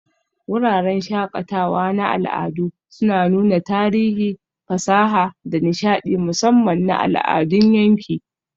Wuraren shakatawa na al'adu suna nuna tarihi, fasaha, da nishaɗi, musamman na al'adun yanki.